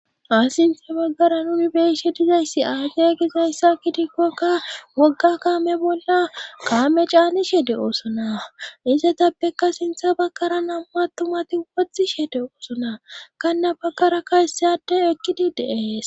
Ha sintha baggara nuni beeshe dizayssi aacey gizayssa kidikkokka wogga kaame bolla kaame caanishe de oosona izetappeka sintha bakkara nam7u attumati wothishede oosona kanna bakkara kayseyade ekkidi de7ees.